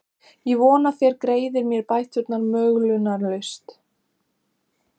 Ég vona þér greiðið mér bæturnar möglunarlaust.